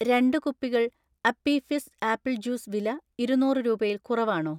രണ്ട് കുപ്പികൾ Appy Fizz apple juice വില ഇരുന്നൂറ് രൂപയിൽ കുറവാണോ?